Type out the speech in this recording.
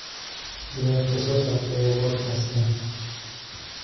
ciyaarta soo socota ee podcast-kan